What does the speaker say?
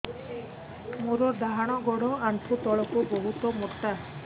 ମୋର ଡାହାଣ ଗୋଡ ଆଣ୍ଠୁ ତଳୁକୁ ବହୁତ ମୋଟା